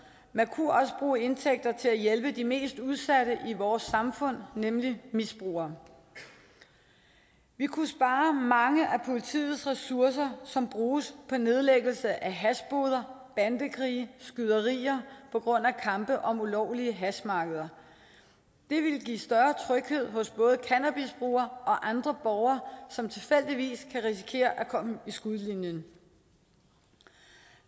man kunne også bruge indtægter til at hjælpe de mest udsatte i vores samfund nemlig misbrugerne vi kunne spare mange af politiets ressourcer som bruges på nedlæggelse af hashboder bandekrige skyderier på grund af kampe om ulovlige hashmarkeder det ville give større tryghed hos både cannabisbrugere og andre borgere som tilfældigvis kan risikere at komme i skudlinjen